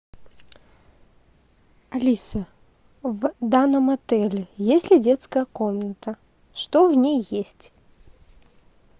алиса в данном отеле есть ли детская комната что в ней есть